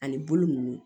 Ani bolo ninnu